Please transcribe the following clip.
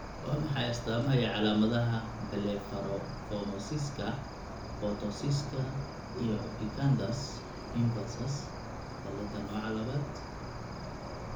Waa maxay astamaha iyo calaamadaha Blepharophimosiska, ptosiska, iyo epicanthus inversus cilaada nooca labad?